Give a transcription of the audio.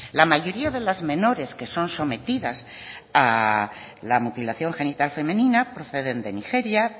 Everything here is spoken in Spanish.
la mayoría de las menores que son sometidas a la mutilación genital femenina proceden de nigeria